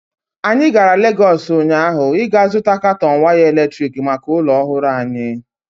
Anyị gara Legọs ụnyaahụ ịga zụta katọn waya eletrik maka ụlọ ọhụrụ anyị.